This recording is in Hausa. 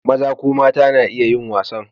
Maza ko mata na iya yin wasa.